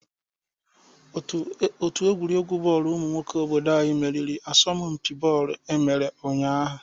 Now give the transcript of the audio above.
Òtù egwuregwu bọọlụ umụ nwoke obodo anyị meriri n'asompi bọọlụ e mere ụnyaahụ.